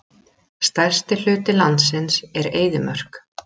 Stærsti hluti landsins er eyðimörk.